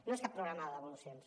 no és cap programa de devolucions